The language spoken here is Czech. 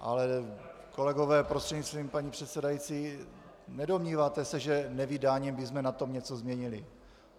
Ale kolegové, prostřednictvím paní předsedající, nedomníváte se, že nevydáním bychom na tom něco změnili?